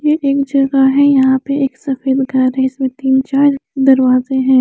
ये एक जगा है यहा पे एक सफेद घर है इसमें तिन चार दरवाज़े है।